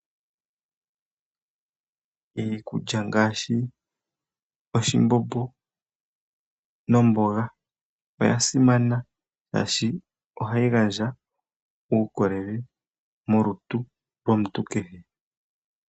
Iikulya ngaashi oshimbombo nomboga oya simana oshoka ohayi gandja uukolele molutu lwomuntu kehe.